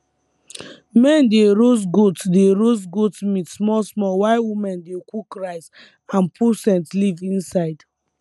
men dey roast goat dey roast goat meat small small while women dey cook rice and put scent leaf inside